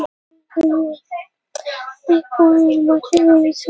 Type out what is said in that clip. Kann ég þeim öllum bestu þakkir svo og öllum þeim mörgu, er aðstoð hafa veitt.